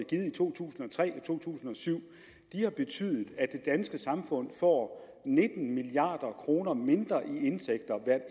to tusind og tre og to tusind og syv har betydet at det danske samfund får nitten milliard kroner mindre